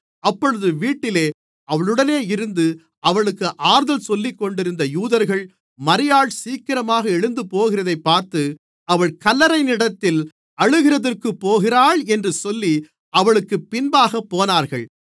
அப்பொழுது வீட்டிலே அவளுடனே இருந்து அவளுக்கு ஆறுதல் சொல்லிக்கொண்டிருந்த யூதர்கள் மரியாள் சீக்கிரமாக எழுந்துபோகிறதைப் பார்த்து அவள் கல்லறையினிடத்தில் அழுகிறதற்குப் போகிறாள் என்று சொல்லி அவளுக்குப் பின்பாகப் போனார்கள்